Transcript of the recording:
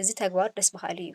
እዚ ተግባር ደስ በሃሊ እዩ፡፡